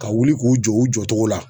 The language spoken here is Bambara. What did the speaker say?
Ka wuli k'u jɔ u jɔcogo la.